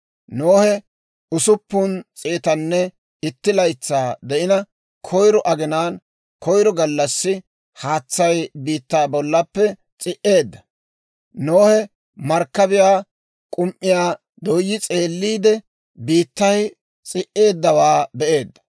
Nohe usuppun s'eetanne itti laytsaa de'ina, koyro aginaan koyro gallassi, haatsay biittaa bollappe s'i"eedda; Nohe markkabiyaa k'um"iyaa dooyi s'eelliide, biittay s'i"eeddawaa be'eedda.